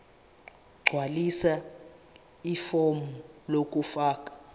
gqwalisa ifomu lokufaka